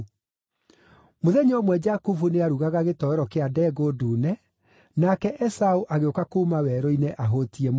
Mũthenya ũmwe Jakubu nĩarugaga gĩtoero kĩa ndengũ ndune, nake Esaũ agĩũka kuuma werũ-inĩ ahũtiĩ mũno.